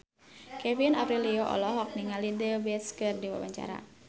Kevin Aprilio olohok ningali The Beatles keur diwawancara